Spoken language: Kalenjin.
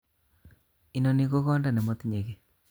Inoni ko konda nemoti'nye kiy